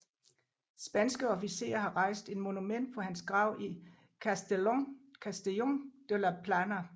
Spanske officerer har rejst et monument på hans grav i Castellon de la Plana